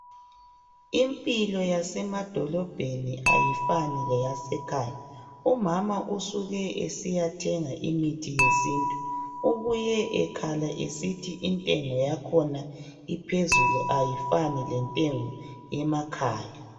Impilo yasemadolobheni ayifani leyasekhaya umama usuke esiyathenga imithi yesintu ubuye ekhala esithi intengo yakhona iphezulu ayifani lentengo yemakhaya.